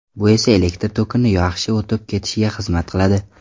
Bu esa elektr tokini yaxshi o‘tib ketishiga xizmat qiladi.